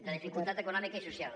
de dificultat econòmica i social